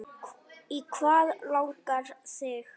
Í hvað langar þig?